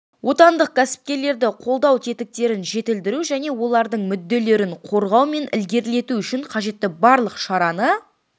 отандық кәсіпкерлерді қолдау тетіктерін жетілдіру және олардың мүдделерін қорғау мен ілгерілету үшін қажетті барлық шараны